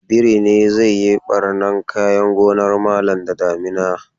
Birin daji ne zai yi ɓarnan kayan gonar malam da damina